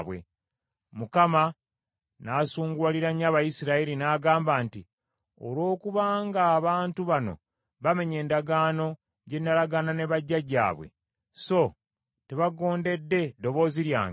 Mukama n’asunguwalira nnyo Abayisirayiri n’agamba nti, “Olw’okuba nga abantu bano bamenye endagaano gye nalagaana ne bajjajjaabwe, so tebagondedde ddoboozi lyange,